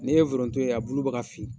N'i ye foronto ye a bulu bɛ ka fin